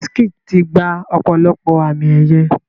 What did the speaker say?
Wizkid ti gba ọ̀pọ̀lọpọ̀ àmì ẹ̀yẹ.